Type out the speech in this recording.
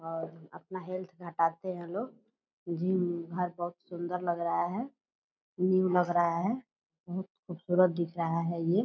और अपना हेल्थ घटाते हैं लोग जिम हर बहुत सुंदर लग रहा है न्यू लग रहा है बहुत खूबसूरत दिख रहा है ये ।